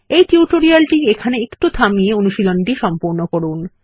এই টিউটোরিয়ালটি এইখানে একটু থামিয়ে অনুশীলনীটি সম্পূর্ণ করুন